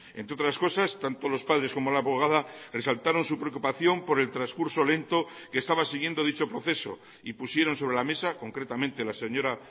entre otras cosas tanto lospadres como la abogada resaltaron su preocupación por el transcurso lento que estaba siguiendo dicho proceso y pusieron sobre la mesa concretamente la señora